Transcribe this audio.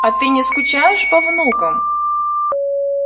а ты не скучаешь по внукам